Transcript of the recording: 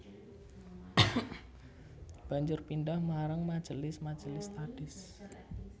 Banjur pindhah marang majelis majelis tahdits